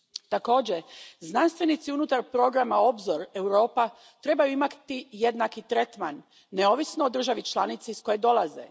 Također, znanstvenici unutar programa Obzor Europa trebaju imati jednaki tretman, neovisno o državi članici iz koje dolaze.